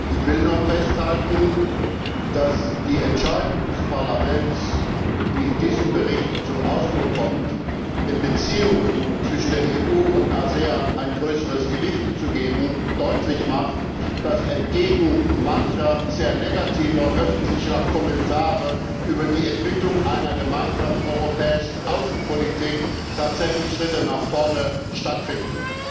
Ich will nur festhalten, dass die Entscheidung des Parlaments, die in diesem Bericht zum Ausdruck kommt, den Beziehungen zwischen EU und ASEAN ein größeres Gewicht zu geben, deutlich macht, dass entgegen mancher sehr negativer öffentlicher Kommentare über die Entwicklung einer gemeinsamen europäischen Außenpolitik tatsächlich Schritte nach vorne stattfinden.